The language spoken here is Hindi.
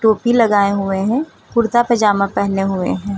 टोपी लगाए हुए हैं कुर्ता पजामा पहने हुए हैं।